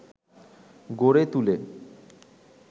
গড়ে তুলে